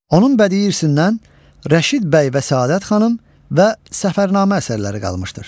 Onun bədii irsindən Rəşid bəy və Səadət xanım və Səfərnamə əsərləri qalmışdır.